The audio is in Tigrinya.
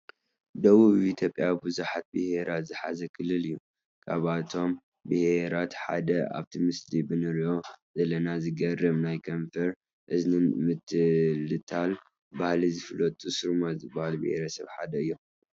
ደበቡ ኢትዮጵያ ብዙሓት ብሄራት ዝሓዘ ክልል እዩ፡፡ ካብቶም ብሄራት ሓደ ኣብቲ ምስሊ ብንሪኦ ዘለና ዘግርም ናይ ከንፈርን እዝንን ምትልታል ባህሊ ዝፍለጡ ሱርማ ዝበሃሉ ብሄረሰብ ሓደ እዮም፡፡